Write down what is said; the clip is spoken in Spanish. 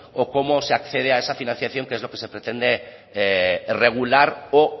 o cómo se accede a esa financiación que es lo que se pretende regular o